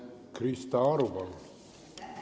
Krista Aru, palun!